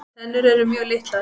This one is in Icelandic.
Tennur eru mjög litlar.